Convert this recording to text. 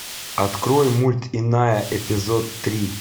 открой мульт иная эпизод три